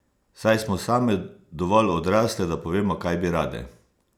Saj smo same dovolj odrasle, da povemo, kaj bi rade!